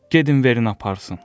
Gedin verin aparsın.